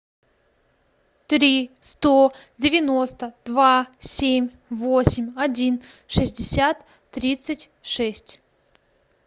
три сто девяносто два семь восемь один шестьдесят тридцать шесть